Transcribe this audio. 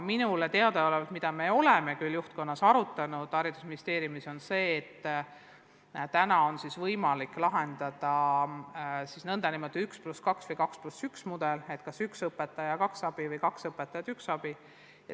Minule teadaolevalt – me oleme seda ministeeriumi juhtkonnas arutanud – on võimalikud mudelid nn 1 + 2 või 2 + 1 mudel ehk siis kas üks õpetaja ja kaks abi või kaks õpetajat ja üks abi.